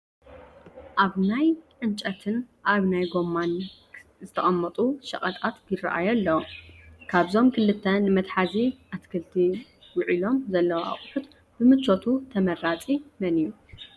ኣብ ናይ ዕንጨፍትን ኣብ ናይ ጐማን ካሳ ዝተቐመጡ ሸቐጣት ይርአዩ ኣለዉ፡፡ ካብዞም ክልተ ንመትሓዚ ኣትክልቲ ውዕሎም ዘለዉ ኣቑሑ ብምቾቱ ተመራፂ መን እዩ?